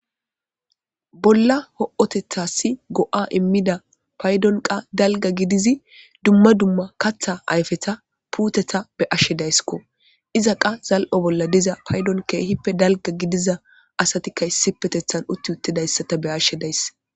Bolla ho'otethassi go7a immida paydon qa dalga gidizi dumma dumma katha ayfeta puuteta be ashshe dayssikko iza qa zal7o bolla diza paydon keehippe dalga gidiza asatikka issipetethan utti uttidayssata be ashshe days.